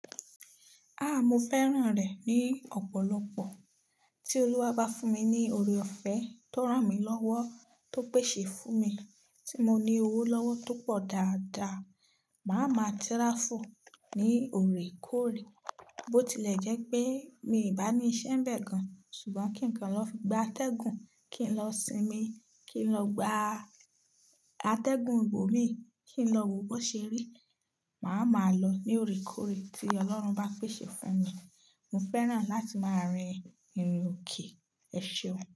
Ah! Mo fẹ́ràn rẹ̀ ní ọ̀pọ̀lọpọ̀. Tí Olúwa bá fún mi ní oore-ọ̀fẹ́ tó ràn mí lọ́wọ́, tó pèsè fún mi, tí mo ní owó lọ́wọ́ tó pọ̀ dáadáa, màá ma tíráfù ní òrèkóòrè. Bó tilẹ̀ jẹ́ pé mi bá ní iṣẹ́ bẹ́ẹ̀ gan an, ṣùgbọ́n kí kan lọ fi gba atẹ́gùn, kí n lọ sinmi, kí n lọ gba atẹ́gùn ìbò mi, kí n lọ wo bó ṣe rí, màá ma lọ ní òrèkóòrè tí Ọlọ́run bá pèsè fún mi. Mo fẹ́ràn láti máa rin ìrìnòkè ẹ̀ ṣeun.